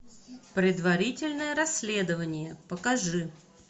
предварительное расследование покажи